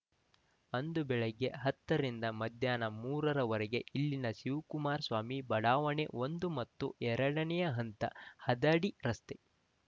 ಅಂದು ಬೆಳಿಗ್ಗೆ ಹತ್ತರಿಂದ ಮಧ್ಯಾಹ್ನ ಮೂರರವರೆಗೆ ಇಲ್ಲಿನ ಶಿವಕುಮಾರ ಸ್ವಾಮಿ ಬಡಾವಣೆ ಒಂದು ಮತ್ತು ಎರಡನೇ ಹಂತ ಹದಡಿ ರಸ್ತೆ